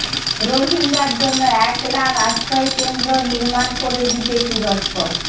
রোহিঙ্গার জন্য এক লাখ আশ্রয়কেন্দ্র নির্মাণে করে দিবে তুরস্ক